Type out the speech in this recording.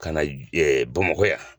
Ka na Bamakɔ yan.